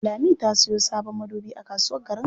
Lami ta sayo sabon madubi a kasuwar Garin Alƙali.